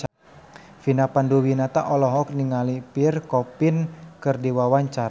Vina Panduwinata olohok ningali Pierre Coffin keur diwawancara